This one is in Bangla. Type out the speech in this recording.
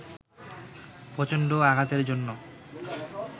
প্রচণ্ড আঘাতের জন্য